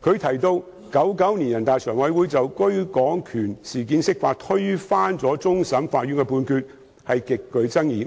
他亦提到 ，1999 年人大常委會就居港權事件釋法，推翻了終審法院的判決，事件極具爭議，